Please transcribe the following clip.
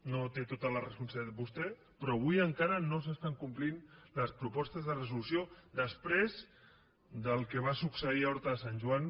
no té tota la responsabilitat vostè però avui encara no s’estan complint les propostes de resolució després del que va succeir a horta de sant joan